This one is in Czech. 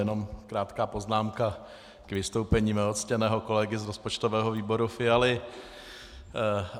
Jenom krátká poznámka k vystoupení mého ctěného kolegy z rozpočtového výboru Fialy.